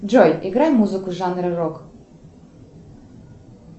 джой играй музыку жанра рок